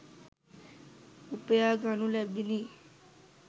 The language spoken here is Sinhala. උපයා ගනු ලැබිණි.